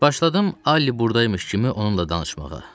Başladım Alli burdaymış kimi onunla danışmağa.